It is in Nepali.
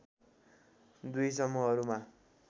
दुई समूहहरूमा